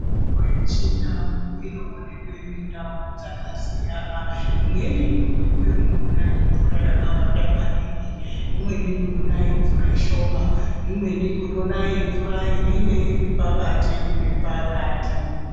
Mitombo yechindau inoonekwe mundau dzakasiyana. Imweni inoonekwa mune mvura yakawanda maningi, imweni munoone yemumvura shoma, imweni munone yemvura inenge iri pakati nepakati.